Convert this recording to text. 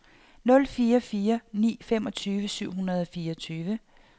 nul fire fire ni femogtyve syv hundrede og fireogtyve